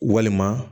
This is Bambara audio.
Walima